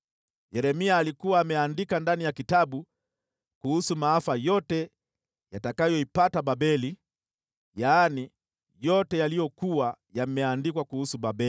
Yeremia alikuwa ameandika ndani ya kitabu kuhusu maafa yote yatakayoipata Babeli, yaani yote yaliyokuwa yameandikwa kuhusu Babeli.